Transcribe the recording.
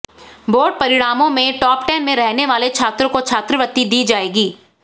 board परिणामों में top ten में रहने वाले छात्रों को छात्रवृत्ति दी जाएगी